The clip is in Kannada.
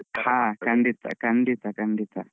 ಹಾ ಖಂಡಿತಾ ಖಂಡಿತಾ ಖಂಡಿತಾ.